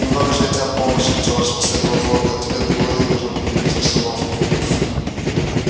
немного же от тебя помощи джордж последовал холодный ответ глории нужно переменить обстановку